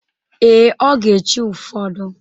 Ee, ọ ga-echi ụfọdụ.